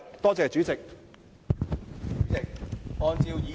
多謝主席。